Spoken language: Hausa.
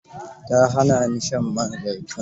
Ta hana ni shan man zaitun.